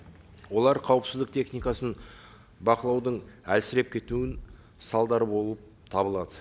олар қауіпсіздік техникасының бақылаудың әлсіреп кетуінің салдары болып табылады